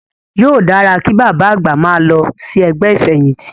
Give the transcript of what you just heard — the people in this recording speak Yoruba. Yóò dára kí bàbá àgbà máa lọ sí ẹgbẹ́ ìfẹ̀yìntì.